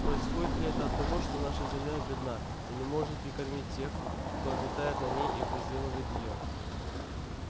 происходит ли это от того что наша земля бедна и не может прикормить тех кто обитает на ней и возделывает её